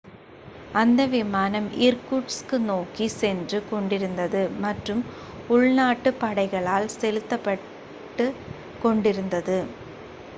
அந்த விமானம் இர்கூட்ஸ்க் நோக்கிச் சென்று கொண்டிருந்தது மற்றும் உள்நாட்டுப் படைகளால் செலுத்தப் பட்டுக் கொண்டிருந்தது